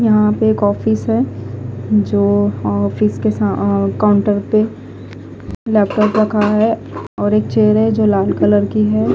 यहा पे एक ऑफिस है जो ऑफिस के सा काउंटर पे लैपटॉप रखा है और एक चेयर है जो लाल कलर की है।